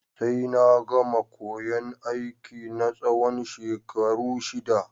Sai na gama koyan aiki na tsawon shekaru shida